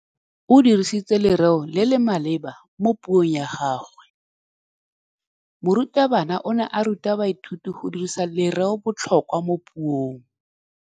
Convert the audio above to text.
O dirisitse lerêo le le maleba mo puông ya gagwe. Morutabana o ne a ruta baithuti go dirisa lêrêôbotlhôkwa mo puong.